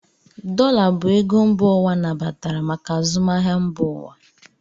Dollar bụ ego mba ụwa nabatara maka azụmahịa mba ụwa.